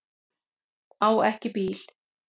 Á ekki bíl.